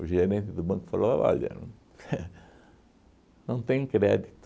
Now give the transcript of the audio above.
O gerente do banco falou, olha, não tem crédito.